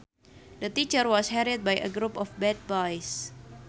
The teacher was harried by a group of bad boys